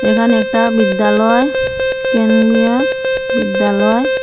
এখানে একটা বিদ্যালয় কেন্দিয়েস বিদ্যালয়--